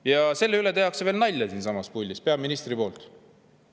Ja selle üle tehakse veel nalja siinsamas puldis, peaministri poolt.